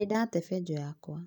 Nĩndate benjũ yakwa